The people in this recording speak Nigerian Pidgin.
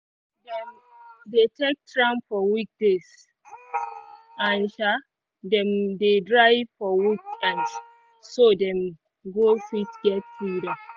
dey take tram for weekdays and um them dey drive for weekends so them go fit get freedom